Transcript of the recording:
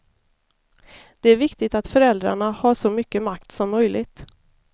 Det är viktigt att föräldrarna har så mycket makt som möjligt.